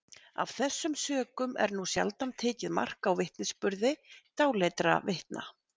Af þessum sökum er nú sjaldan tekið mark á vitnisburði dáleiddra vitna.